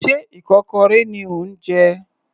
Sé ikokorẹ ni ò ń jẹ?